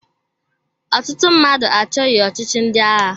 Ọtụtụ mmadụ achọghị ọchịchị ndị agha.